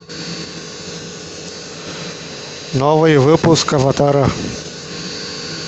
новый выпуск аватара